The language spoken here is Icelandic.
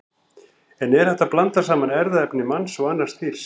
En er hægt að blanda saman erfðaefni manns og annars dýrs?